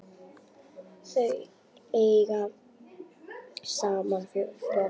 Þau eiga saman fjögur börn.